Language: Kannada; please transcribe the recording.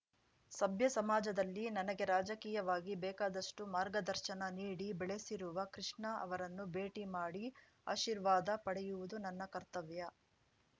ಸಭ್ಯ ಸಮಾಜದಲ್ಲಿ ನನಗೆ ರಾಜಕೀಯವಾಗಿ ಬೇಕಾದಷ್ಟುಮಾರ್ಗದರ್ಶನ ನೀಡಿ ಬೆಳೆಸಿರುವ ಕೃಷ್ಣ ಅವರನ್ನು ಭೇಟಿ ಮಾಡಿ ಆಶೀರ್ವಾದ ಪಡೆಯುವುದು ನನ್ನ ಕರ್ತವ್ಯ